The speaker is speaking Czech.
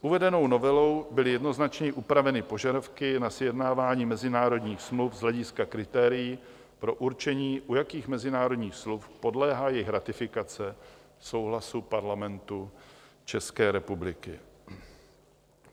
Uvedenou novelou byly jednoznačněji upraveny požadavky na sjednávání mezinárodních smluv z hlediska kritérií pro určení, u jakých mezinárodních smluv podléhá jejich ratifikace souhlasu Parlamentu České republiky.